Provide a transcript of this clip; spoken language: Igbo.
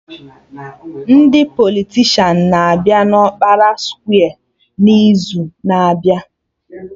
Ndị politishan na-abịa na ọkpara skwe n'izu na-abịa